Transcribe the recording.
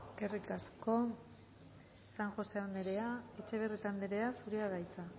eskerrik asko san josé anderea etxebarrieta anderea zurea da hitza